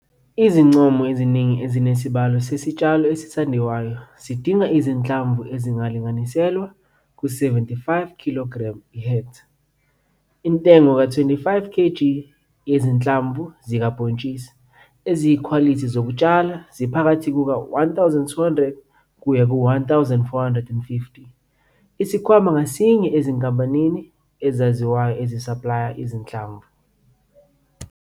Izincomo eziningi ezinesibalo sesitshalo esithandwayo siding izinhlamvu ezilinganiselwa ku-75 kilogremu ihektha. Intengo ka-25 kg yezinhlamvu zikabhontshisi eziyikhwalithi zokutshala ziphakathi kuka-R1 200 kuya ku-R1 450 isikhwama ngasinye ezinkampanini ezaziwayo ezisaplaya izinhlamvu.